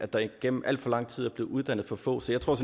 der igennem alt for lang tid er blevet uddannet for få så jeg tror